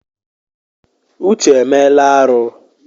Uche emela arụ.